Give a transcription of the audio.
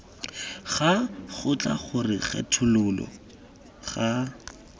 ga kgotla gore kgethololo ga